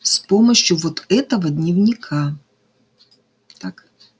с помощью вот этого дневника так